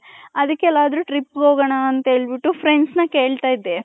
ಅದ್ದಿಕೆ ಎಲ್ಲಾದ್ರು trip ಹೋಗಣ ಅಂತ friends ನ ಕೆಲ್ಲ್ತಿದೆ .